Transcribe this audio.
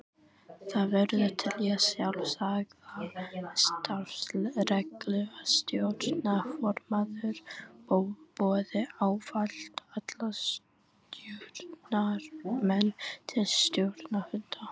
Það verður að telja sjálfsagða starfsreglu að stjórnarformaður boði ávallt alla stjórnarmenn til stjórnarfunda.